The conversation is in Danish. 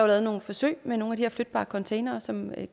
lavet nogle forsøg med nogle af de her flytbare containere som er